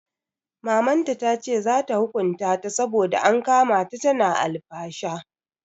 Mamanta tace za ta hukunta ta saboda an kama ta tana alfasha.